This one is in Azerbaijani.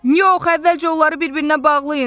Yox, əvvəlcə onları bir-birinə bağlayın.